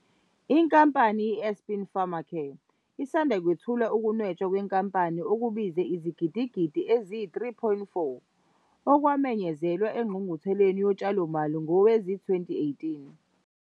Inkampani iAspen Pharmacare isanda kwethula ukunwetshwa kwenkampani okubize izigidigidi eziyi-R3.4, okwamenyezelwa eNgqungqutheleni Yotshalomali ngowezi-2018.